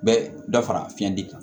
Bɛ dɔ fara fiɲɛ di kan